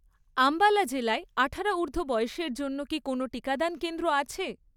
আম্বালা জেলায় আঠারো ঊর্ধ্ব বয়সের জন্য কি কোনও টিকাদান কেন্দ্র আছে?